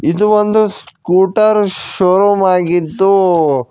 ಇದು ಒಂದು scooter showroom ಆಗಿದ್ದು--